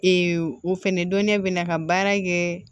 o fɛnɛ dɔnnen bɛ na ka baara kɛ